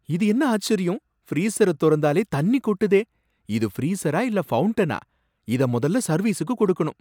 இது என்ன ஆச்சரியம்! ஃப்ரீசர தொறந்தாலே தண்ணி கொட்டுதே! இது ஃப்ரீசரா இல்ல ஃபவுண்டனா! இத முதல்ல சர்வீசுக்கு கொடுக்கணும்.